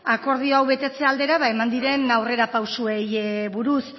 akordio hau betetze aldera eman diren aurrerapausoei buruz